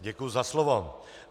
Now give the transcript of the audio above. Děkuji za slovo.